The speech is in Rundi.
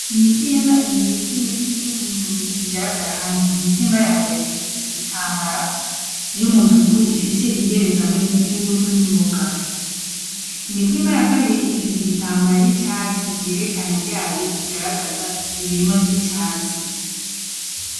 Imitimba ibiri z'imiti y'ubuhinzi zigaragara hamwe imitsimba ya mbere ifise igitambara y'umutuku ifise iyerekano y'imbuto n'imboga imitimba ya kabiri ifise igitambara y'icatsi yerekana ryayo igaragaza ibirimo vy'icatsi.